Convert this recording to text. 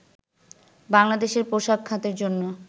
বাংলাদেশের পোশাক খাতের জন্য